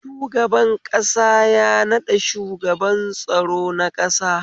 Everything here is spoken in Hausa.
Shugaban ƙasa ya naɗa shugaban tsaro na ƙasa.